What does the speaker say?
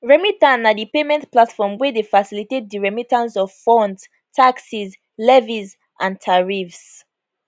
remita na di payment platform wey dey facilitate di remittance of funds taxes levies and tariffs